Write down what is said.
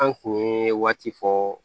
An kun ye waati fɔ